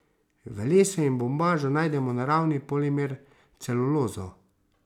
V lesu in bombažu najdemo naravni polimer celulozo.